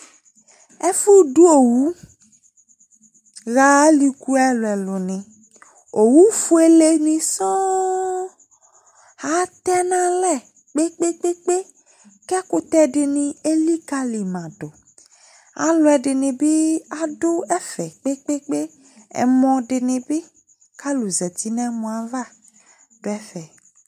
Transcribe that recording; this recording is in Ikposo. ɛfudu owuha ɑliku ɛluelu owufuele nisɔn ɑtenale kpekpekpe kekutedini ɛlikalimadu ɑluadini biduefe kpekpekpe ɛmodinibi ku lɑluzati nemoaya duefɛ